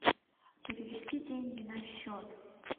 перевести деньги на счет